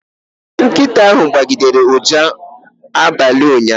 Nkịta ahụ gbọgidere ụja n'abalị ụnyaahụ